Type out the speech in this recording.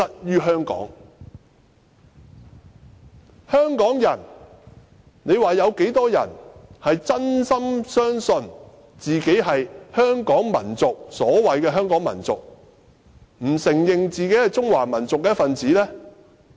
究竟香港有多少人是真心相信自己屬於所謂的香港民族，而不承認自己是中華民族的一分子？